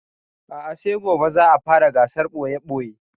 A'a sai gobe za a fara gasar ɓoye-ɓoye